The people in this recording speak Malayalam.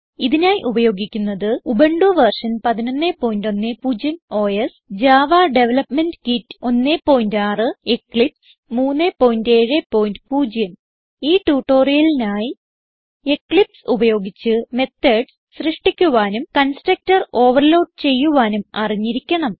ഇതിനായി ഉപയോഗിക്കുന്നത് Ubuntu version 1110 OS Java development kit 16 Eclipse 370 ഈ ട്യൂട്ടോറിയലിനായി എക്ലിപ്സ് ഉപയോഗിച്ച് മെത്തോഡ്സ് സൃഷ്ടിക്കുവാനും കൺസ്ട്രക്ടർ ഓവർലോഡ് ചെയ്യുവാനും അറിഞ്ഞിരിക്കണം